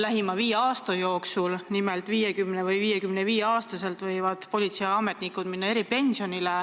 Nimelt võivad politseiametnikud 50- või 55-aastaselt eripensionile minna.